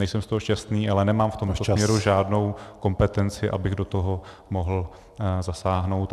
Nejsem z toho šťastný, ale nemám v tomto směru žádnou kompetenci , abych do toho mohl zasáhnout.